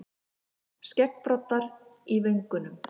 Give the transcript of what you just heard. Skeggbroddar í vöngunum.